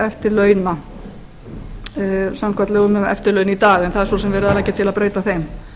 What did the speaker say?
eftirlauna samkvæmt lögum um eftirlaun í dag en það er svo sem verið að leggja til að breyta þeim